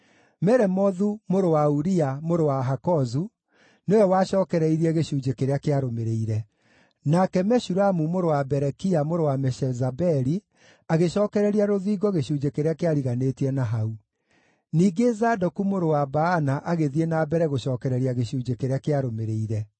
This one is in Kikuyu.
Meremothu mũrũ wa Uria mũrũ wa Hakozu, nĩwe wacookereirie gĩcunjĩ kĩrĩa kĩarũmĩrĩire. Nake Meshulamu mũrũ wa Berekia mũrũ wa Meshezabeli agĩcookereria rũthingo gĩcunjĩ kĩrĩa kĩariganĩtie na hau. Ningĩ Zadoku mũrũ wa Baana agĩthiĩ na mbere gũcookereria gĩcunjĩ kĩrĩa kĩarũmĩrĩire.